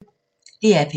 DR P1